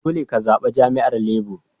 Dolle ka zaba jami'yyar Labour.